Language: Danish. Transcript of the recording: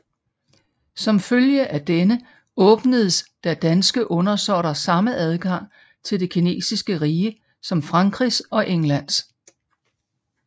Som følge af denne åbnedes der danske undersåtter samme adgang til det kinesiske rige som Frankrigs og Englands